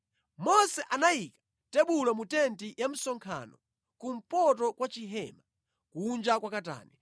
Mose anayika tebulo mu tenti ya msonkhano kumpoto kwa chihema, kunja kwa katani,